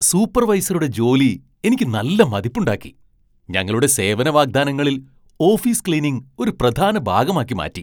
സൂപ്പർവൈസറുടെ ജോലി എനിക്ക് നല്ല മതിപ്പുണ്ടാക്കി, ഞങ്ങളുടെ സേവന വാഗ്ദാനങ്ങളിൽ ഓഫീസ് ക്ലീനിംഗ് ഒരു പ്രധാന ഭാഗമാക്കി മാറ്റി.